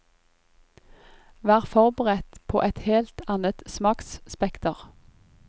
Vær forberedt på et helt annet smaksspekter.